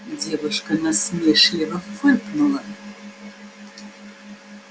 девушка насмешливо фыркнула